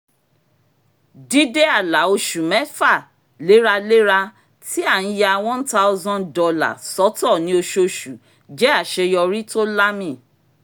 dídé àlà oṣù mẹ́fà léraléra tí a ti ń ya one thousand dollars sọ́tọ̀ ní ọṣooṣù jẹ́ àṣeyọrí tó lámì